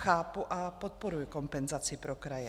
Chápu a podporuji kompenzaci pro kraje.